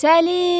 Səlim!